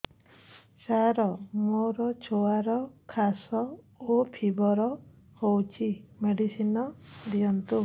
ସାର ମୋର ଛୁଆର ଖାସ ଓ ଫିବର ହଉଚି ମେଡିସିନ ଦିଅନ୍ତୁ